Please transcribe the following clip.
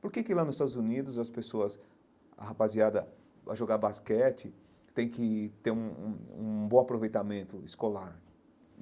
Por que que lá nos Estados Unidos as pessoas, a rapaziada vai jogar basquete, tem que ter um um um bom aproveitamento escolar?